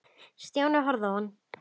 Stjáni horfði á hann.